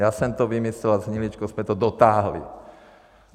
Já jsem to vymyslel a s Hniličkou jsme to dotáhli.